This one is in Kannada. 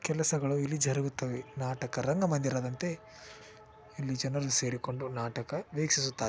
ಕೆಲಸಗಳು ಇಲ್ಲಿ ಜರುಗುತ್ತವೆ ನಾಟಕ ರಂಗ ಮಂದಿರದಂತೆ ಇಲ್ಲಿ ಜನರು ಸೆರಿಕೊಂಡು ನಾಟಕ ವಿಕಿಸುತ್ತಾರೆ .